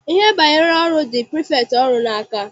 Ihe banyere ọrụ dị prifektị ọrụ n'aka.